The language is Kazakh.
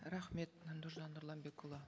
рахмет нұржан нұрланбекұлы